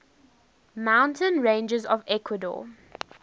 mountain ranges of ecuador